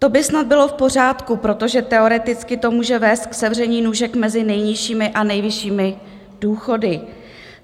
To by snad bylo v pořádku, protože teoreticky to může vést k sevření nůžek mezi nejnižšími a nejvyššími důchody.